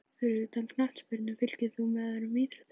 Fyrir utan knattspyrnu, fylgist þú með öðrum íþróttum?